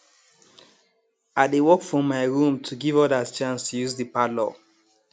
i dey work from my room to give others chance to use the parlour